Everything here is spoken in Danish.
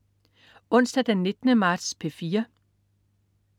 Onsdag den 19. marts - P4: